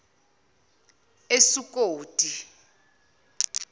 esukoti